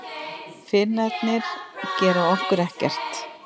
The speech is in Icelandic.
Finnarnir gera okkur ekkert.